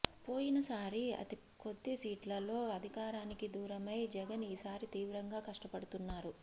పోయిన సారి అతి కొద్ది సీట్లతో అధికారానికి దూరమై జగన్ ఈసారి తీవ్రంగా కష్టపడుతున్నారు